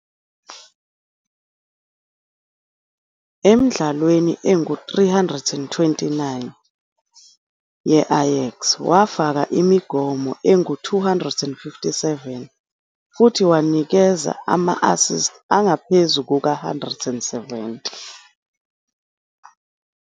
Emidlalweni engu-329 ye-Ajax, wafaka imigomo engu-257 futhi wanikeza ama-assist angaphezu kuka-170.